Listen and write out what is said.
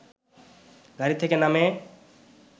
গাড়ি থেকে নামে